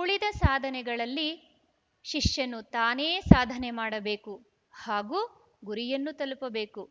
ಉಳಿದ ಸಾಧನೆಗಳಲ್ಲಿ ಶಿಷ್ಯನು ತಾನೇ ಸಾಧನೆ ಮಾಡಬೇಕು ಹಾಗೂ ಗುರಿಯನ್ನು ತಲುಪಬೇಕು